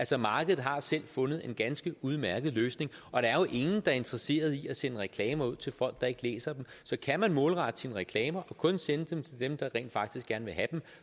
så markedet har selv fundet en ganske udmærket løsning og der er jo ingen er interesseret i at sende reklamer ud til folk der ikke læser dem så kan man målrette sine reklamer og kun sende dem til dem der rent faktisk gerne vil have dem